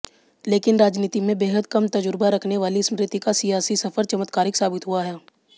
लेकिन राजनीति में बेहद कम तजुर्बा रखने वाली स्मृति का सियासी सफर चमत्कारिक साबित हुआ